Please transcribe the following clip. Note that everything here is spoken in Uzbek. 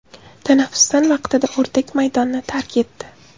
Tanaffusdan vaqtida o‘rdak maydonni tark etdi.